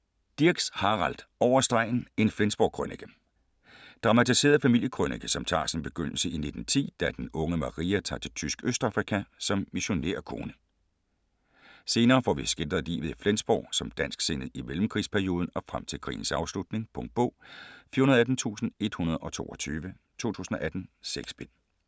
Dirks, Harald: Over stregen - en Flensborg-krønike Dramatiseret familiekrønike som tager sin begyndelse i 1910, da den unge Maria tager til tysk Østafrika som missionærkone. Senere får vi skildret livet i Flensborg som dansksindet i mellemkrigsperioden og frem til krigens afslutning. Punktbog 418122 2018. 6 bind.